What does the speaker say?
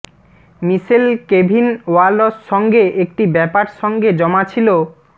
মিশেল Kevin Walsh সঙ্গে একটি ব্যাপার সঙ্গে জমা ছিল